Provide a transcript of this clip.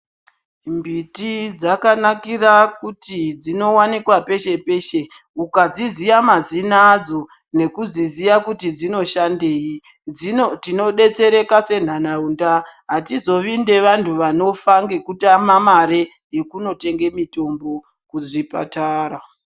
Mbiti dzakanakira kuti dzinowanikwa peshe-peshe. Ukadziziya mazina adzo nekudziziya kuti dzinoshandei, tinodetsereka senharaunda. Hatizovi nevantu vanofa ngekutama mare yekunotenge mitombo kuzvipatara.